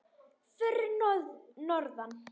Fyrir norðan.